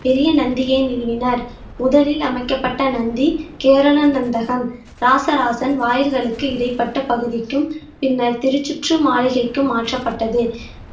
பெரிய நந்தியை நிறுவினர் முதலில் அமைக்கப்பட்ட நந்தி கேரளா நந்தகம் ராசராசன் வாயில்களுக்கு இடைப்பட்ட பகுதிக்கும் பின்னர் திருச்சுற்று மாளிகைக்கும் மாற்றப்பட்டது